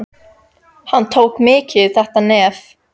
Hann tók mikið í þetta nef.